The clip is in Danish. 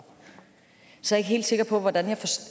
så ikke helt sikker på at